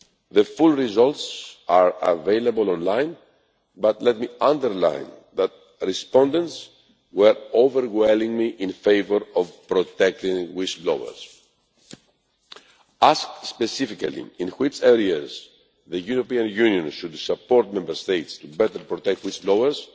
The full results are available online, but let me underline that respondents were overwhelmingly in favour of protecting whistle-blowers. Asked specifically in which areas the European Union should support Member States to better protect whistle-blowers,